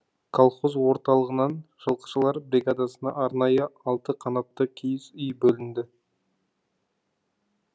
колхоз орталығынан жылқышылар бригадасына арнайы алты қанатты киіз үй бөлінді